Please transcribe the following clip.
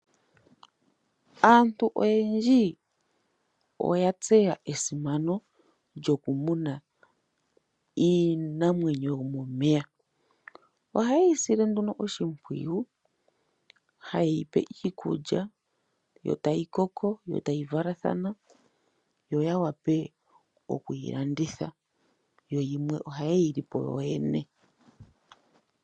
Aantu oyendji oya tseya esimano lyoku muna iinamwenyo yo momeya. Ohaye yi sile nduno oshimpwiyu haye yipe iikulya, yo tayi koko etayi valathana, yo yawape okuyi landitha yo yimwe ohaye yi lipo yo yene.